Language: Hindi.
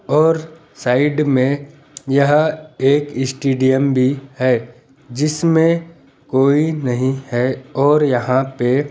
और साइड में यह एक स्टेडियम भी है जिसमें कोई नहीं है और यहां पे--